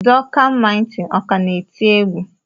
Duncan mighty ọ ka na-eti egwu?